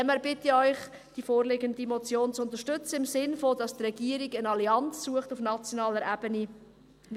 Daher bitte ich Sie, die vorliegende Motion zu unterstützen, im Sinne davon, dass die Regierung eine Allianz auf nationaler Ebene sucht.